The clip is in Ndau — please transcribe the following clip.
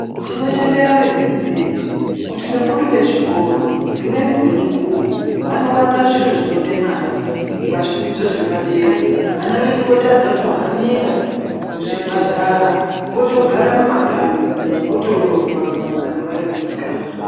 Tinochemera vehurumende, kuti vakuru vezvikoro, dzimweni dzemukuwo vanowanza zviro zvinode mare, pazvidzidzo zvepadera, vana vedu votadza kuhanira kuzvibhadhara, votogara mumakanyi, votoroorwa kana vari vasikana.